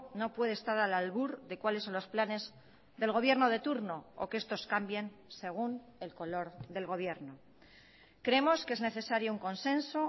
no puede estar al albur de cuáles son los planes del gobierno de turno o que estos cambien según el color del gobierno creemos que es necesario un consenso